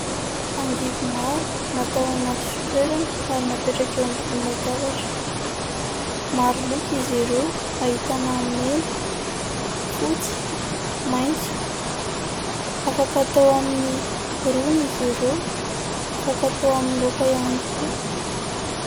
Angivy maro, natao anaty fitoerany, ary napetraka eo ambony latabatra. Maro loko izy ireo, ahitana : mena, fotsy, maitso. Afaka atao amin'ny rony izy ireo, afaka atao amin'ny laoka ihany koa.